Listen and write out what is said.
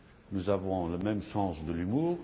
Nous avons le même sens de l'humour.